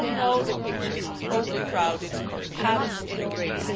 We all know the pictures of overcrowded camps in Greece.